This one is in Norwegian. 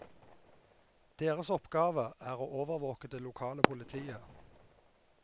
Deres oppgave er å overvåke det lokale politiet.